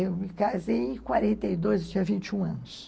Eu me casei em quarenta e dois, eu tinha vinte e um anos.